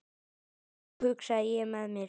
Ó hugsaði ég með mér.